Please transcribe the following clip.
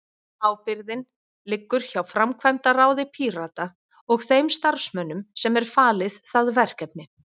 Ábyrgðin liggur hjá framkvæmdaráði Pírata og þeim starfsmönnum sem er falið það verkefni.